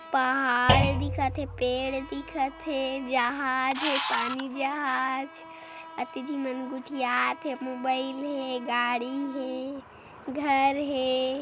पहाड़ दिखत थे पेड़ दिखत थे जहाज़ हे पानी जहाज़ अतिथि मन गोठियात थे मोबाईल हे गाड़ी हे घर हे।